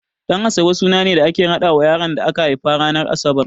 Ɗan'asabe suna ne da ake raɗawa yaron da aka haifa ranar Asabar.